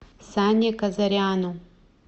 сане казаряну